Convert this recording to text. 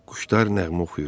Quşlar nəğmə oxuyurdu.